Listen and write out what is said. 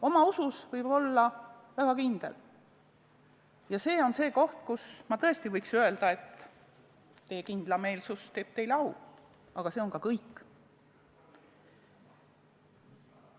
Oma usus võib olla väga kindel ja see on see koht, kus ma tõesti võiks öelda, et teie kindlameelsus teeb teile au, aga see on ka kõik.